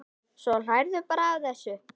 Svo hlærðu bara að þessu!